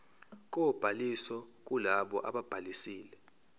kobhaliso kulabo ababhalisile